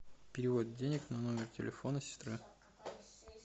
перевод денег на номер телефона сестра